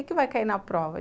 O que vai cair na prova?